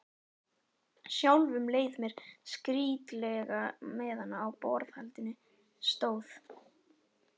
Sjálfum leið mér skrýtilega meðan á borðhaldinu stóð.